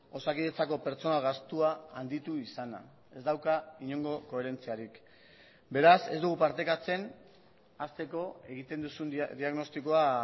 osakidetzako pertsona gastua handitu izana ez dauka inongo koherentziarik beraz ez dugu partekatzen hasteko egiten duzun diagnostikoa